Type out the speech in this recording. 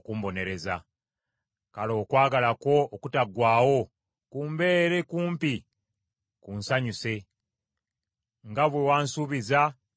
Kale okwagala kwo okutaggwaawo kumbeere kumpi kunsanyuse, nga bwe wansuubiza, nze omuddu wo.